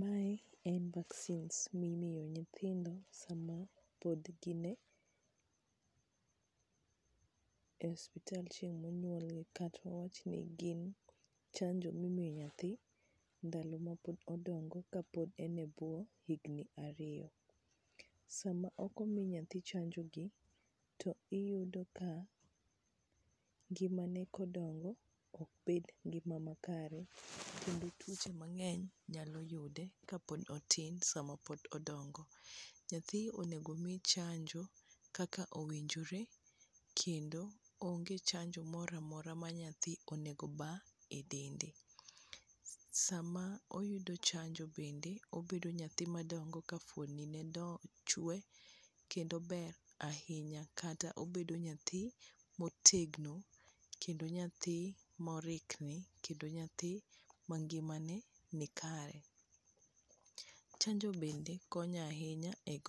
Mae en vaccines mimiyo nyithindo sama pod gin e osuptal chieng' monyuolgi kata wawachni gin chanjo mi imi nyathi ndalo mapod odongo kapod en e bwo higni ariyo. Sama ok omi nyathi chanjogi, to iyudo ka ngimane kodongo ok bed ngima makare kendo tuoche mang'eny nyalo yude kapod otin sama pod odongo. Nyathi onego omi chanjo kaka owinjore kendo onge chanjo mora mora ma nyathi onego oba e dende. Sama oyudo chanjo bende obedo nyathi madongo ka fwondni ne chwe kendo ber ahinya kata obedo nyathi motegno kendo nyathi morikni kendo nyathi ma ngimane nikare. Chanjo bende konyo ahinya e